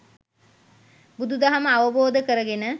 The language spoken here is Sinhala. බුදු දහම අවබෝධ කරගෙන